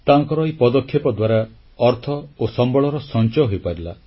ତାଙ୍କର ଏହି ପଦକ୍ଷେପ ଦ୍ୱାରା ଅର୍ଥ ଓ ସମ୍ବଳର ସଂଚୟ ହୋଇପାରିଲା